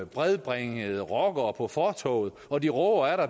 bredbringede rockere på fortovet og de råber